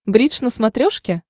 бридж на смотрешке